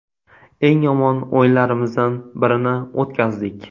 Eng yomon o‘yinlarimizdan birini o‘tkazdik.